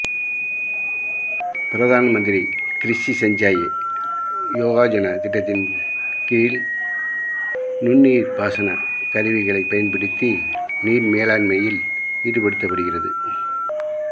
பிரதான் மந்திரி கிருஷி சஞ்சயி யோஜனா திட்டத்தின் கீழ் நுண்நீா்பாசன கருவிகளை பயன்படுத்தி நீா்மேலாண்மையில் ஈடுபடுத்தப் படுகிறது